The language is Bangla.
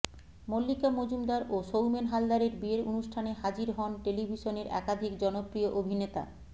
মল্লিকা মজুমদার ও সৌমেন হালদারের বিয়ের অনুষ্ঠানে হাজির হন টেলিভশনের একাধিক জনপ্রিয় অভিনেতা